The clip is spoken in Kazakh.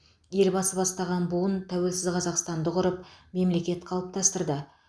елбасы бастаған буын тәуелсіз қазақстанды құрып мемлекет қалыптастырды